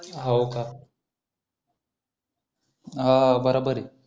हो का हो हो बरोबर आहे